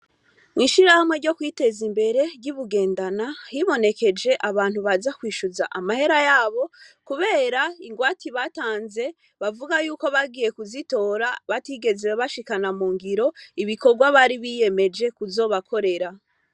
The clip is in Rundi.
Mw'ishirahamwe ryo kwiteza imbere ry'ibugendana hibonekeje abantu baza kwishuza amahera yabo, kubera ingwati batanze bavuga yuko bagiye kuzitora batigeze bashikana mu ngiro ibikorwa bari biyemeje kuzobakorera.